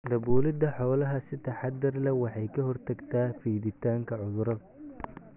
Daabulidda xoolaha si taxadar leh waxay ka hortagtaa fiditaanka cudurrada.